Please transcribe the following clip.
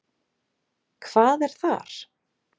Hvað er þar?